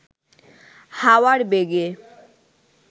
হাওয়ার বেগে